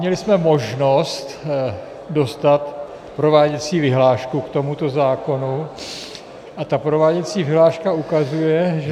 Měli jsme možnost dostat prováděcí vyhlášku k tomuto zákonu a ta prováděcí vyhláška ukazuje, že -